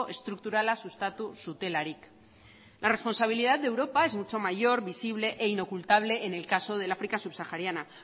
estrukturala sustatu zutelarik la responsabilidad de europa es mucho mayor visible e inocultable en el caso del áfrica subsahariana